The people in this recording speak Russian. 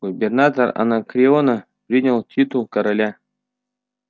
губернатор анакреона принял титул короля